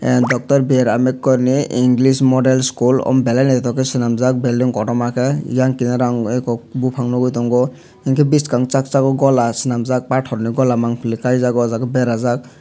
doctor b r ambedkar ni english model school o belai noitok ke selamjak belding kotorma ke eyang ke kinaro ang eku bopang nogoi tongo hingke biskang sak sok gola selamjak pator ni gola mang pilek kaijak berajak.